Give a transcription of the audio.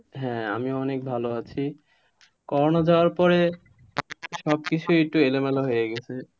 হ্যাঁ আমি অনেক ভালো আছি করোনা যাওয়ার পরে সবকিছুই তো এলো মেলো হয়ে গেছে,